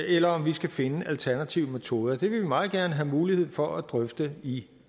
eller om vi skal finde alternative metoder det vil vi meget gerne have mulighed for at drøfte i